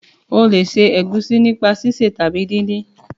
o le se egusi nípa sise tàbí din-din.